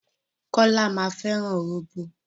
Kọ́lá máa fẹ́ràn róbó.